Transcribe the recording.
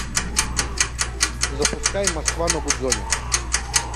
запускай москва на гудзоне